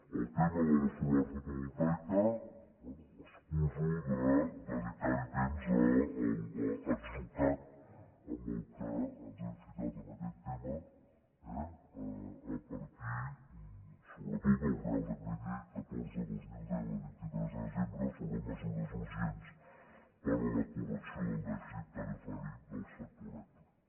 en el tema de la solar fotovoltaica bé excuso de dedicar temps a l’atzucac en què ens hem ficat en aquest tema eh a partir sobretot del reial decret llei catorze dos mil deu de vint tres de desembre sobre mesures urgents per a la correcció del dèficit tarifari del sector elèctric